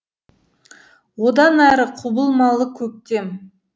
одан әрі құбылмалы көктем